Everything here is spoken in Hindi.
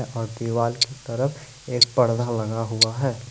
और दीवाल की तरफ एक पर्दा लगा हुआ है।